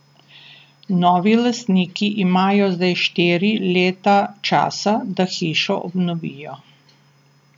Novi lastniki imajo zdaj štiri leta časa, da hišo obnovijo.